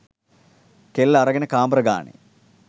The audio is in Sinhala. කෙල්ල අරගෙන කාමර ගානේ